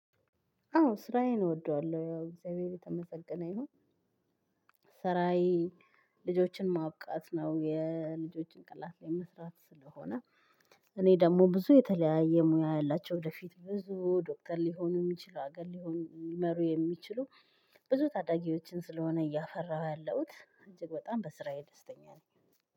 አዎ ስራዬን እወደዋለሁ ያው እግዚአብሔር የተመሰገነ ይሁን። ስራዬ ልጆችን ማብቃት ነው የልጆችን ጭንቅላት ላይ መስራት ስለሆነ። እኔ ደግሞ ብዙ የተለያየ ሙያ ያላቸው ወደፊት ብዙ ዶክተር ሊሆኑ የሚችሉ አገር ሊሆን ሊመሩ የሚችሉ ብዙ ታዳጊዎችን ስለሆነ እያፈራሁ ያለሁት እጅግ በጣም በስራዬ ደስተኛ ነኝ።